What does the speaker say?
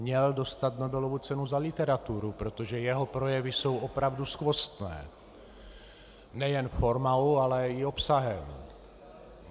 Měl dostat Nobelovu cenu za literaturu, protože jeho projevy jsou opravdu skvostné - nejen formou, ale i obsahem.